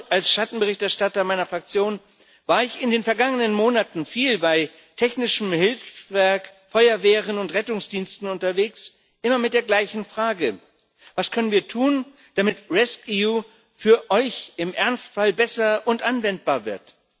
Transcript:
Als Schattenberichterstatter meiner Fraktion war ich in den vergangenen Monaten viel bei Technischem Hilfswerk, Feuerwehren und Rettungsdiensten unterwegs, immer mit der gleichen Frage Was können wir tun, damit rescEU für euch im Ernstfall besser und anwendbar wird?